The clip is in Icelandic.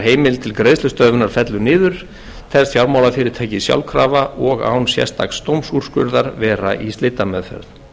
til greiðslustöðvunar fellur niður telst fjármálafyrirtæki sjálfkrafa og án sérstaks dómsúrskurðar vera í slitameðferð